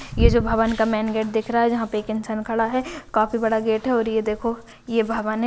ये जो भवन का मेन गेट दिख रहा है जहाँ पे एक इंसान खड़ा है काफी बड़ा गेट है और ये देखो ये भवन है।